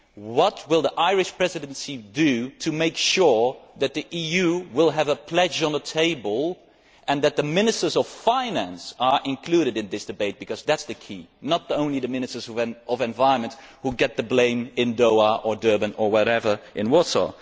What will the Irish Presidency do to make sure that the EU will have a pledge on the table and that the Ministers of Finance are included in this debate, because that is the key. It should not only be the Ministers of the Environment who get the blame in Doha, in Durban or in Warsaw.